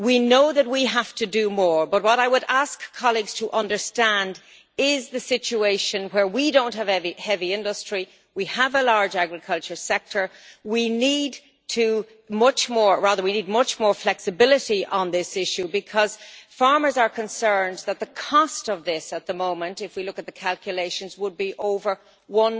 We know that we have to do more, but what I would ask colleagues to understand is the situation where we do not have heavy industry, we have a large agricultural sector and we need much more flexibility on this issue, because farmers are concerned that the cost of this at the moment if we look at the calculations would be over EUR